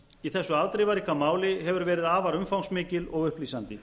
í þessu afdrifaríka máli hefur verið afar umfangsmikil og upplýsandi